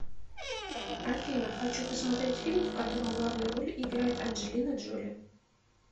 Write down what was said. афина хочу посмотреть фильм в котором главные роли играет анжелина джоли